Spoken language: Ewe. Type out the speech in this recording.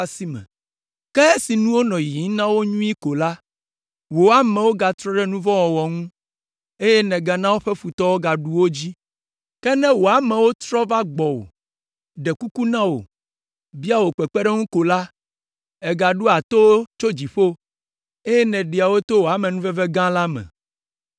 “Ke esi nuwo nɔ yiyim na wo nyuie ko la, wò amewo gatrɔ ɖe nu vɔ̃ wɔwɔ ŋu, eye nègana woƒe futɔwo gaɖu wo dzi. Ke ne wò amewo trɔ va gbɔwò, ɖe kuku na wò, bia wò kpekpeɖeŋu ko la, ègaɖoa to wo tso dziƒo, eye nèɖea wo to wò amenuveve gã la me!